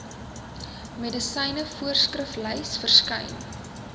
medisyne voorskriflys verskyn